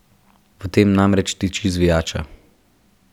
V tem namreč tiči zvijača.